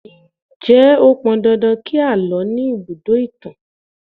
Ǹjẹ́ ó pọn dandan kí àlọ́ ní ibùdó ìtàn?